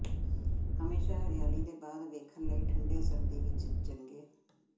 ਹਮੇਸ਼ਾ ਹਰਿਆਲੀ ਦੇ ਬਾਅਦ ਵੇਖਣ ਲਈ ਠੰਡੇ ਸਰਦੀ ਵਿੱਚ ਚੰਗੇ